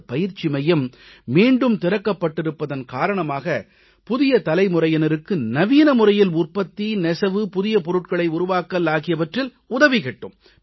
இந்தப் பயிற்சி மையம் மீண்டும் திறக்கப் பட்டிருப்பதன் காரணமாக புதிய தலைமுறையினருக்கு நவீன முறையில் உற்பத்தி நெசவு புதிய பொருட்களை உருவாக்கல் ஆகியவற்றில் உதவி கிட்டும்